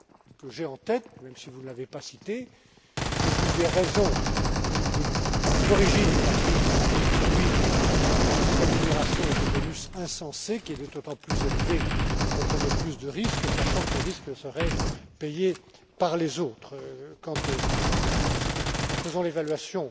point que j'ai en tête, même si vous ne l'avez pas cité, qui est l'une des raisons ou l'une des origines de la crise, celui des rémunérations et des bonus insensés qui étaient d'autant plus élevés qu'on prenait plus de risques, sachant que les risques seraient payés par les autres. Quand nous ferons l'évaluation